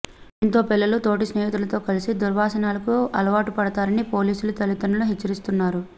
దీంతో పిల్లలు తోటి స్నేహితులతో కలిసి దుర్వ సనాలకు అలవాటు పడతారని పోలీసులు తల్లి దండ్రులను హెచ్చరిస్తున్నారు